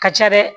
Ka ca dɛ